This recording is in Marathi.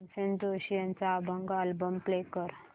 भीमसेन जोशी यांचा अभंग अल्बम प्ले कर